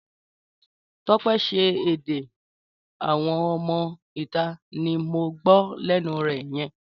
Tọ́pẹ́ ṣé èdè àwọn ọmọ ìta ní mo gbó lénu rẹ yen?